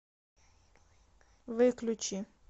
выключи